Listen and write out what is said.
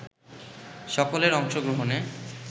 সকলের অংশগ্রহণে